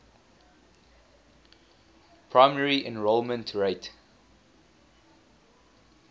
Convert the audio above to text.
primary enrollment rate